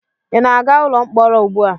Ị na-aga ụlọ mkpọrọ ugbu a?